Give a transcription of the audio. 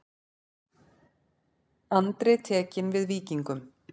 Andri tekinn við Víkingum